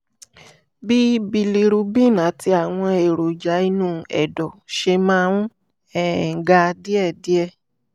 bí bilirubin àti àwọn èròjà inú ẹ̀dọ̀ ṣe máa ń um ga díẹ̀díẹ̀